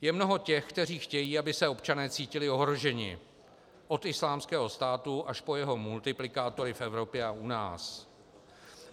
Je mnoho těch, kteří chtějí, aby se občané cítili ohroženi, od Islámského státu až po jeho multiplikátory v Evropě a u nás.